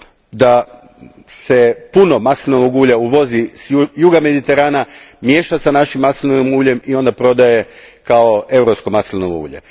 da se puno maslinovog ulja uvozi s juga Mediterana, miješa s našim maslinovim uljem i onda prodaje kao europsko maslinovo ulje.